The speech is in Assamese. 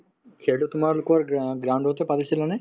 খেলতো তোমালোকৰ অ ground তে পাতিছিলানে ?